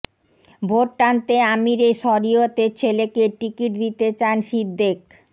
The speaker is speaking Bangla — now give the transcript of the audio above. ভোট টানতে আমিরে শরিয়তের ছেলেকে টিকিট দিতে চান সিদ্দেক